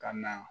Ka na